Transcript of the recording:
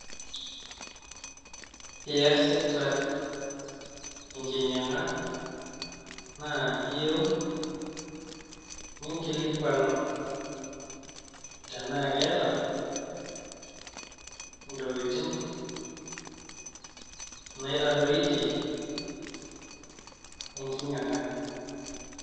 Reading it along.